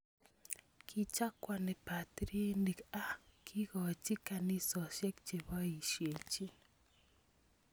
Kichakwani batiriinik a kikochi kanisosiek cheboyisyechin